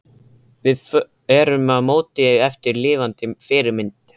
Við erum að móta eftir lifandi fyrirmynd.